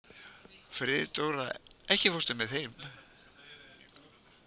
Friðdóra, ekki fórstu með þeim?